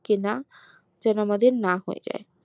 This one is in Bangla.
কেনা যেন আমাদের না হয়ে যাই